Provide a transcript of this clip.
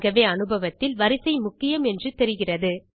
ஆகவே அனுபவத்தில் வரிசை முக்கியம் என்று தெரிகிறது